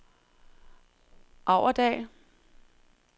Aurdal